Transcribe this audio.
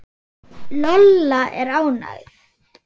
Lolla er ágæt.